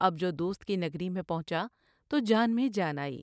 اب جو دوست کی نگری میں پہنچا تو جان میں جان آئی ۔